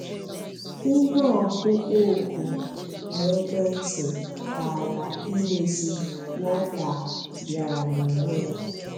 Ihe ọkpụkpọ òkù n'ekwentị kaara imezi, Walter bịara n'onwe ya.